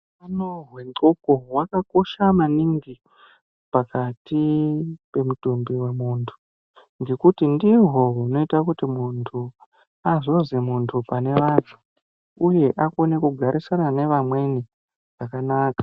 Hutano hwndxondo hwakakosha maningi pakati pemutumbi wemuntu, ngekuti ndihwo hunoite kuti muntu azozwi muntu pane vantu, uye akone kugarisana nevamweni zvakanaka.